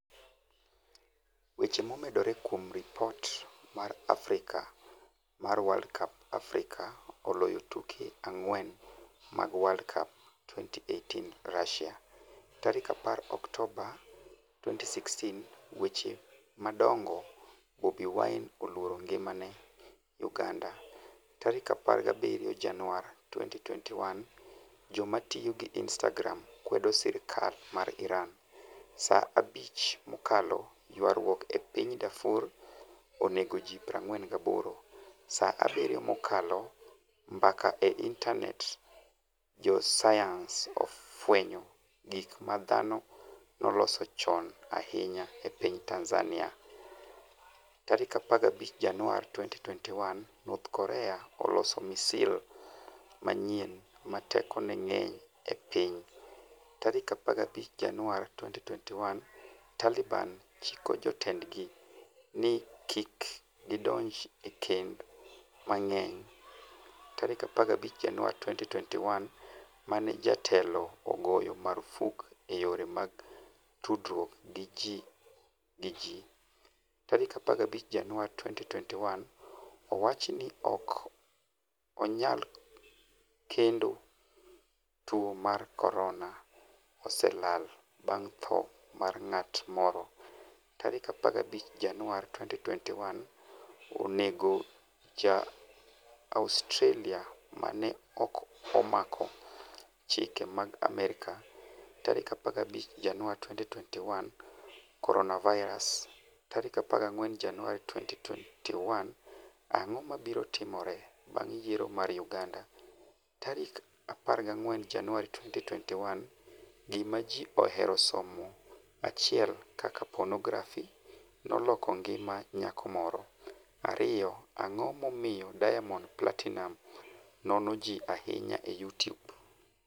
Weche momedore kuom ripot mar Africa mar World Cup Africa oloyo tuke ang'wen mag World Cup 2018 Russia.10 Oktoba 2016 Weche madongo Bobi Wine 'oluoro ngimane' Uganda17 Januar 2021 Joma tiyo gi Instagram kwedo sirkal mar IranSa 5 mokalo Ywaruok e piny Darfur onego ji 48Sa 7 mokalo Mbaka e Intanet Josayans ofwenyo gik ma dhano noloso chon ahinya e piny Tanzania15 Januar 2021 North Korea oloso misil manyien 'ma tekone ng'eny e piny'15 Januar 2021 Taliban chiko jotendgi ni kik gidonj e kend mang'eny15 Januar 2021 mane jatelo ogoyo marfuk e yore mag tudruok gi ji15 Januar 2021 Owach ni 'ok onyal kwedo tuo mar corona' oselal bang' tho mar ng'at moro15 Januar 2021 Oneg Ja-Australia ma ne 'ok omako chike mag Amerka'15 Januar 2021 Coronavirus 14 Januar 2021 Ang'o mabiro timore bang' yiero mar Uganda? 14 Januar 2021 Gima Ji Ohero Somo 1 Kaka Ponografi Noloko Ngima Nyako Moro 2 Ang'o Momiyo Diamond Platinumz Nono Ji Ahinya e Youtube?